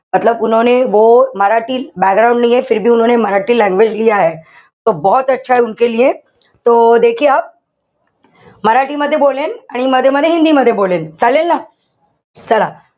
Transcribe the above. background language Marathi मध्ये बोलेन. आणि मध्ये-मध्ये हिंदी मध्ये बोलेन. चालेल ना? चला,